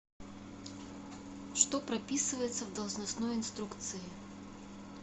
что прописывается в должностной инструкции